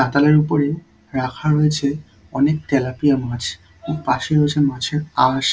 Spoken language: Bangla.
পাতানের উপরে রাখা রয়েছে অনেক তেলাপিয়া মাছ এবং পাশে রয়েছে মাছের আঁশ ।